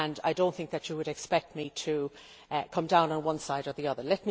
I do not think you would expect me to come down on one side or the other.